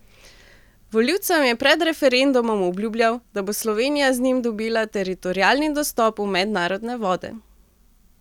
Volivcem je pred referendumom obljubljal, da bo Slovenija z njim dobila teritorialni dostop v mednarodne vode.